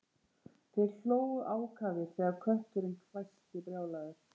Þeir hlógu ákafir þegar kötturinn hvæsti brjálaður